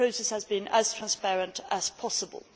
The process has been as transparent as possible.